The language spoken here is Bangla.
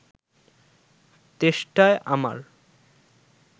তেষ্টায় আমার